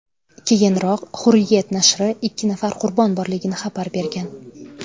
Keyinroq Hurriyet nashri ikki nafar qurbon borligini xabar bergan.